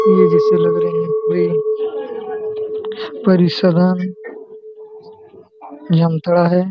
ये जैसे लग रहा है कोई परिसदन जामताड़ा है।